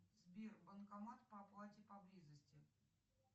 сбер банкомат по оплате поблизости